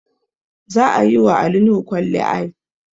Za a yi wa Ali Nuhu kwalliay